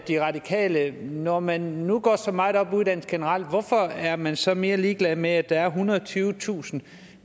det radikale venstre når man nu går så meget op i uddannelse generelt hvorfor er man så mere ligeglad med at der er ethundrede og tyvetusind